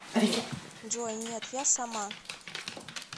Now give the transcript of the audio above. джой нет я сама